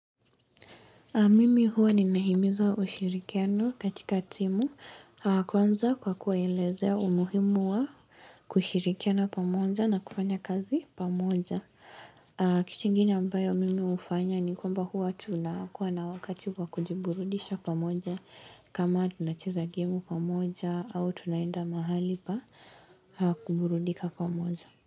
Mimi huwa ni nahimiza ushirikiano katika timu kwanza kwa kuwaelezea umuhimu wa kushirikiana pamoja na kufanya kazi pamoja. Kitu ingine ambayo mimi hufanya ni kwamba huwa tunakuwa na wakati kwa kujiburudisha pamoja kama tunacheza gemu pamoja au tunaenda mahali pa kuburudika pamoja.